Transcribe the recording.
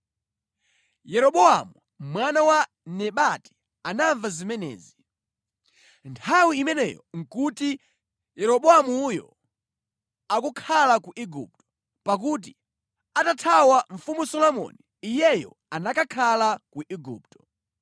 Yeroboamu mwana wa Nebati anamva zimenezi. Nthawi imeneyo nʼkuti Yeroboamuyo akukhala ku Igupto, pakuti atathawa Mfumu Solomoni iyeyo anakakhala ku Igupto.